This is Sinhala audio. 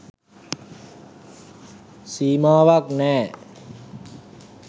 සීමාවක්‌ නෑ.